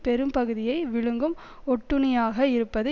பெரும்பகுதியை விழுங்கும் ஒட்டுண்ணியாக இருப்பது